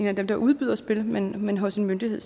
af dem der udbyder spil men men hos en myndighed